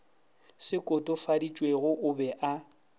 se kotofaditšwego o be o